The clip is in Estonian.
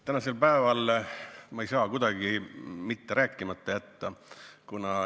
Tänasel päeval ma ei saa mitte kuidagi rääkimata jätta.